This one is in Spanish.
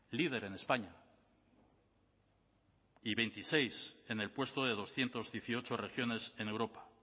líder en españa y veintiséis en el puesto de doscientos dieciocho regiones en europa